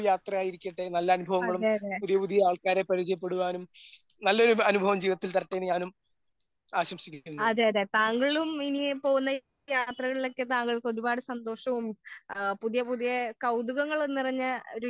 അതേ അതേ താങ്കളും എന്നെ പോലെ യാത്രകളിൽ ഒക്കെ ഒരുപാട് സന്തോഷവും പുതിയ പുതിയ കൗതുകങ്ങൾ നിറഞ്ഞ ഒരു